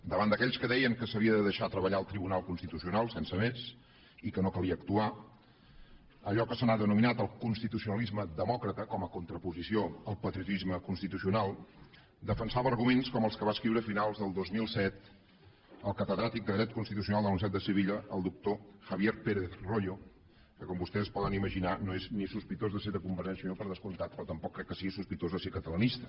davant d’aquells que deien que s’havia de deixar treballar el tribunal constitucional sense més i que no calia actuar allò que se n’ha denominat el constitucionalisme demòcrata com a contraposició al patriotisme constitucional defensava arguments com els que va escriure a finals del dos mil set el catedràtic de dret constitucional de la universitat de sevilla el doctor javier pérez royo que com vostès poden imaginar no és ni sospitós de ser de convergència i unió per descomptat però tampoc crec que sigui sospitós de ser catalanista